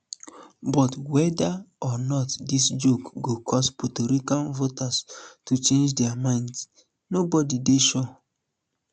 but weda or not dis joke go cause puerto rican voters to change dia minds nobody dey sure